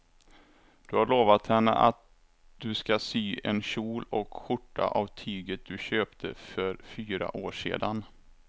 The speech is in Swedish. Du har lovat henne att du ska sy en kjol och skjorta av tyget du köpte för fyra år sedan.